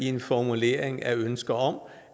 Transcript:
en formulering af ønske om